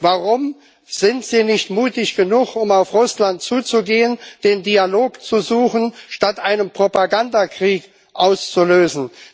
Warum sind Sie nicht mutig genug, um auf Russland zuzugehen, den Dialog zu suchen, statt einen Propagandakrieg auszulösen?